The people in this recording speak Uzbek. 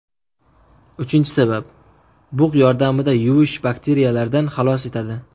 Uchinchi sabab: bug‘ yordamida yuvish Bakteriyalardan xalos etadi.